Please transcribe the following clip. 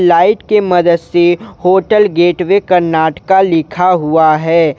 Light के मदद से होटल गेटवे कर्नाटका लिखा हुआ है।